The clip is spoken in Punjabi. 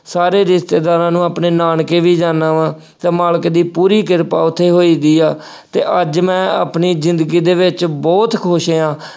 ਸਾਰੇ ਰਿਸ਼ਤੇਦਾਰਾਂ ਨੂੰ, ਆਪਣੇ ਨਾਨਕੇ ਵੀ ਜਾਂਦਾ ਵਾਂ ਅਤੇ ਮਾਲਕ ਦੀ ਪੂਰੀ ਕਿਰਪਾ ਉੱਥੇ ਹੋਈ ਦੀ ਆ ਅਤੇ ਅੱਜ ਮੈਂ ਆਪਣੀ ਜ਼ਿੰਦਗੀ ਦੇ ਵਿੱਚ ਬਹੁਤ ਖੁਸ਼ ਹਾਂ।